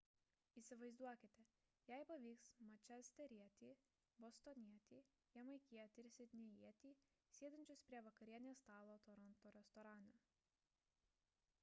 įsivaizduokite jei pavyks mančesterietį bostonietį jamaikietį ir sidnėjietį sėdinčius prie vakarienės stalo toronto restorane